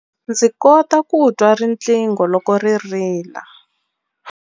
Ndzi kota ku twa riqingho loko ri rila.